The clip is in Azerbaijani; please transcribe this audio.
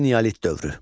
Eneolit dövrü.